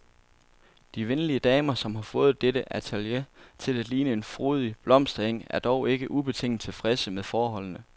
De venlige damer, som har fået dette atelier til at ligne en frodig blomsteng, er dog ikke ubetinget tilfredse med forholdene.